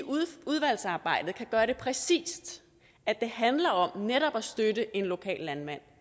udvalgsarbejdet kan gøre det præcist at det handler om netop at støtte en lokal landmand